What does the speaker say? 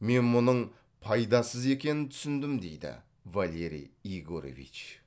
мен мұның пайдасыз екенін түсіндім дейді валерий егорович